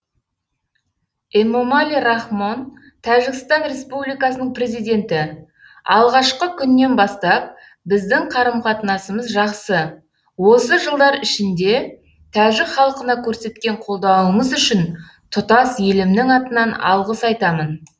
эмомали рахмон тәжікстан республикасының президенті алғашқы күннен бастап біздің қарым қатынасымыз жақсы осы жылдар ішінде тәжік халқына көрсеткен қолдауыңыз үшін тұтас елімнің атынан алғыс айтамын